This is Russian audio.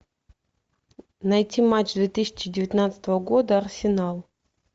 найти матч две тысячи девятнадцатого года арсенал